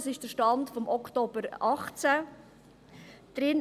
Das ist der Stand vom Oktober 2018.